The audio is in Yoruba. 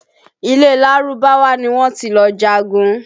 Ilẹ̀ Lárúbáwá ni wọ́n ti lọ jagun